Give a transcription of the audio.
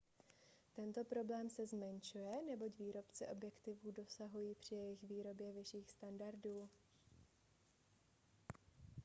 tento problém se zmenšuje neboť výrobci objektivů dosahují při jejich výrobě vyšších standardů